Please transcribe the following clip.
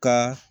Ka